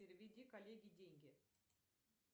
переведи коллеге деньги